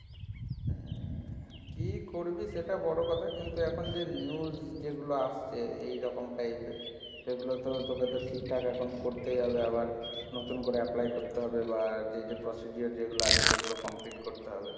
উম, কি করবি সেটা বড় কথা, কিন্তু এখন যে news যেগুলো আসছে এইরকম type এর এগুলো তো তোকে তো ঠিকঠাক এখন করতেই হবে, আবার নতুন করে apply করতে হবে বা যে যে procedure যেগুলো আছে সেগুলো complete করতে হবে।